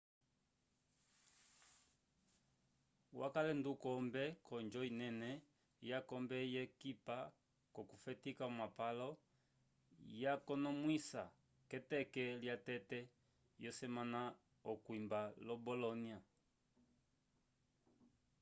wakale ndukombe k'onjo inene yakombe yekipa k'okufetika omapalo yakonomwisiwa k'eteke lyatete yosemana okwimba lo bolónia